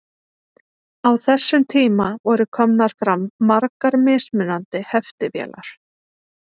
Á þessum tíma voru komnar fram margar mismunandi heftivélar.